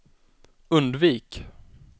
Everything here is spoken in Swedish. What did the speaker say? undvik